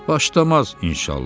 Başlamaz, inşallah.